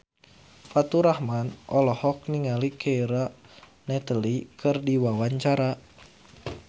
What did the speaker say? Faturrahman olohok ningali Keira Knightley keur diwawancara